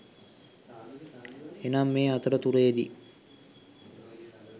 එනම් මේ අතර තුරේ දී